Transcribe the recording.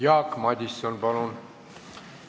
Jaak Madison, palun!